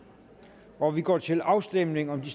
og vi går til afstemning om de